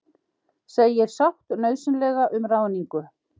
Segir sátt nauðsynlega um ráðningu